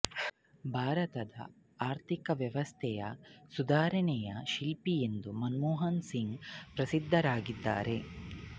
ಭಾರತದ ಆರ್ಥಿಕ ವ್ಯವಸ್ಥೆಯ ಸುಧಾರಣೆಯ ಶಿಲ್ಪಿ ಎಂದು ಮನಮೋಹನ್ ಸಿಂಗ್ ಪ್ರಸಿದ್ಧರಾಗಿದ್ದಾರೆ